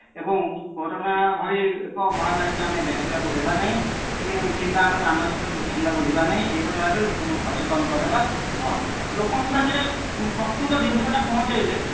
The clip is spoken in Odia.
ଏବଂ କୋରୋନା ଭଳି ଏକ ମହାମାରୀ କି ଆମେ ବ୍ୟାପିବାକୁ ଦେବା ନାହିଂ କି କିମ୍ବା ଆମେ ମାନସିକ ଦୁଶ୍ଚିନ୍ତା କୁ ଯିବା ନାହିଁ ଏହିପରି ଭାବେ ଲୋକଙ୍କୁ ସଚେତନ କରେଇବା ମୁଁ ଲୋକଙ୍କ ପାଖରେ ପ୍ରକୂତ ଜିନିଷ ଟା ପହଞ୍ଚେଇଲେ